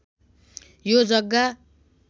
यो जग्गा